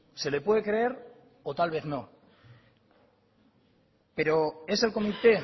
se le puede creer o tal vez no pero es el comité